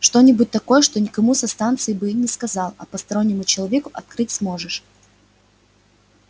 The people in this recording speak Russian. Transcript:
что-нибудь такое что никому со станции бы не сказал а постороннему человеку открыть сможешь